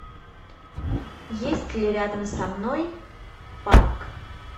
есть ли рядом со мной парк